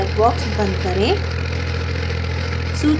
dialog box बंद करें